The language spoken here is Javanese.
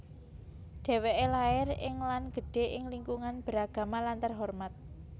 Dheweke lair ing lan gedhe ing lingkungan beragama lan terhormat